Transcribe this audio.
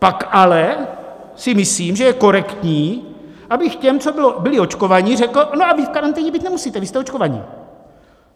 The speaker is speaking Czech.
Pak ale si myslím, že je korektní, abych těm, co byli očkovaní, řekl: No a vy v karanténě být nemusíte, vy jste očkovaní.